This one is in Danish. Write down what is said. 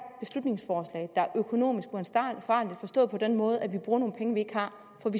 økonomisk uansvarligt forstået på den måde at vi bruger nogle penge vi ikke har